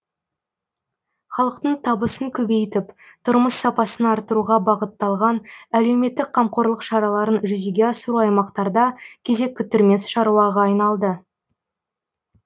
халықтың табысын көбейтіп тұрмыс сапасын арттыруға бағытталған әлеуметтік қамқорлық шараларын жүзеге асыру аймақтарда кезек күттірмес шаруаға айналды